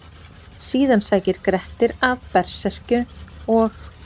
Síðan sækir Grettir að berserkjum og: